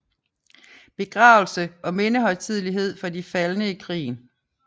Begravelse og mindehøjtidelighed for de faldne i krigen